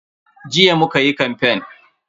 Jiya muka yi kamfen.